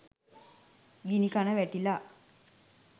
ගිණිකන වැටිලා